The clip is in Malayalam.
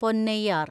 പൊന്നൈയാർ